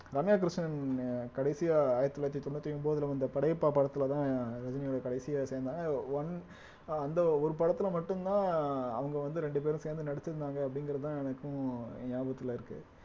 ரம்யா கிருஷ்ணன் கடைசியா ஆயிரத்தி தொள்ளாயிரத்தி தொண்ணூத்தி ஒன்பதுல வந்த படையப்பா படத்துலதான் ரஜினியோட கடைசியா சேர்ந்தாங்க one அந்த ஒரு படத்துல மட்டும்தான் அவுங்க வந்து ரெண்டு பேரும் சேர்ந்து நடிச்சிருந்தாங்க அப்படிங்கிறதுதான் எனக்கும் ஞாபகத்துல இருக்கு